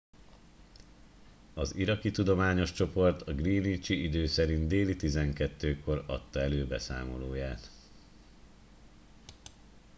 az iraki tudományos csoport a greenwichi idő szerint déli 12 kor adta elő beszámolóját